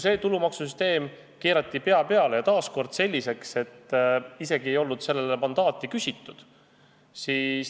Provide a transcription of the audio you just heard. See tulumaksusüsteem keerati pea peale ja taas nii, et sellele ei olnud isegi mandaati küsitud.